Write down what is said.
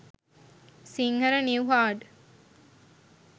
sinhala new hard